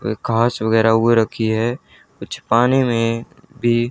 वे काच वगैरा ओ रखी है कुछ पाने में भी--